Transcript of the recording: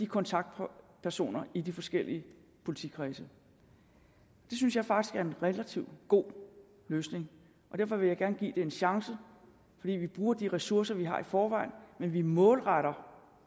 kontaktpersonerne i de forskellige politikredse det synes jeg faktisk er en relativt god løsning og derfor vil jeg gerne give det en chance fordi vi bruger de ressourcer vi har i forvejen men vi målretter